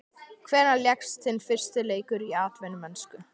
Hvenær lékstu þinn fyrsta leik í atvinnumennsku?